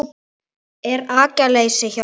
Er agaleysi hjá liðinu?